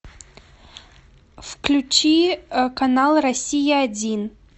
включи канал россия один